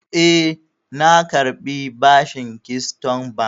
E, na karbi bashin Keystone Bank.